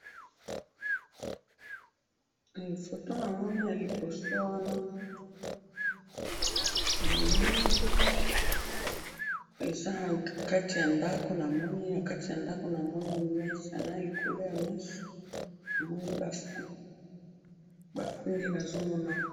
fotonamoni na libosoawa namoni eza nakati ya ndaku nakati ya ndaku namoni mesa na likolo ya mesa namoni ba fruit bafruit nde nazomona awa.